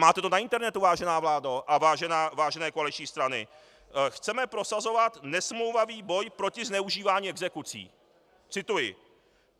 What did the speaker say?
Máte to na internetu, vážená vládo a vážené koaliční strany: Chceme prosazovat nesmlouvavý boj proti zneužívání exekucí - cituji.